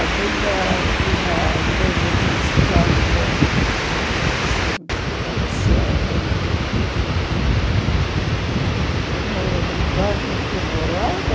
A vila tinha a igreja principal que a gente se batizava e e lembro que no bairro que morava,